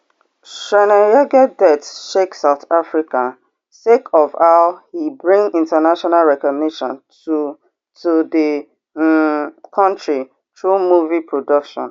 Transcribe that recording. chweneyagae death shake south africa sake of how e bring international recognition to to di um kontri through movie production